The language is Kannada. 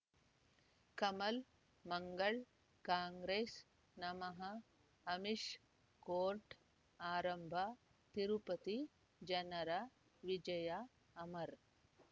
ಕಮಲ್ ಮಂಗಳ್ ಕಾಂಗ್ರೆಸ್ ನಮಃ ಅಮಿಷ್ ಕೋರ್ಟ್ ಆರಂಭ ತಿರುಪತಿ ಜನರ ವಿಜಯ ಅಮರ್